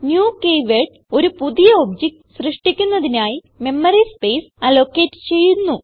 new keyword ഒരു പുതിയ object സൃഷ്ടിക്കുന്നതിനായി മെമ്മറി സ്പേസ് അലോക്കേറ്റ് ചെയ്യുന്നു